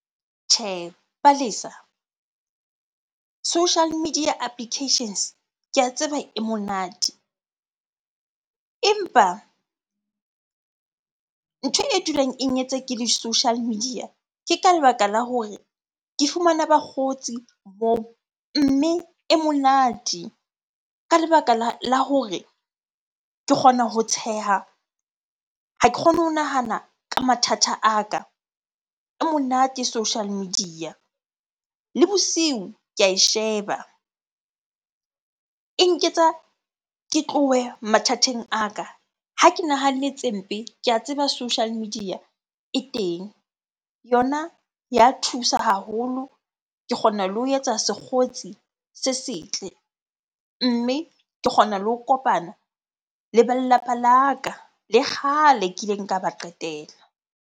Tjhehe. Palesa, social media applications ke a tseba e monate. Empa ntho e dulang e ke le social media, ke ka lebaka la hore ke fumana bakgotsi . Mme e monate ka lebaka la hore ke kgona ho tsheha, ha ke kgone ho nahana ka mathata a ka. E monate social media. Le bosiu ke ae sheba, e nketsa ke tlohe mathateng a ka. Ha ke nahanne tse mpe, ke a tseba social media e teng. Yona ya thusa haholo, ke kgona le ho etsa sekgotsi se setle. Mme ke kgona le ho kopana le ba lelapa la ka le kgale kileng ka ba qetela.